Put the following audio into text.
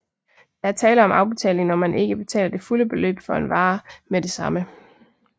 Der er tale om afbetaling når man ikke betaler det fulde beløb for en vare med det samme